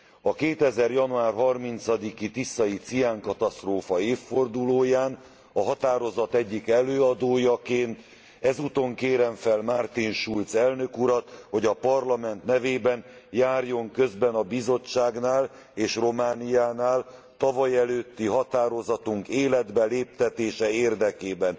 A 2000. január 30 i tiszai ciánkatasztrófa évfordulóján a határozat egyik előadójaként ezúton kérem fel Martin Schulz elnök urat, hogy a Parlament nevében járjon közben a Bizottságnál és Romániánál tavalyelőtti határozatunk életbe léptetése érdekében.